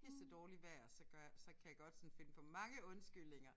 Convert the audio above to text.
pissedårligt vejr så gør jeg så kan jeg godt sådan finde på mange undskyldninger